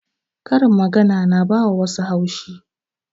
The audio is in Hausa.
Karin magana na ba wa wassu haushi